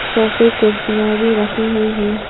सोफे कुर्सियां भी रखी हुई हैं।